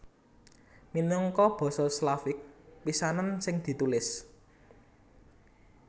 Minangka basa Slavik pisanan sing ditulis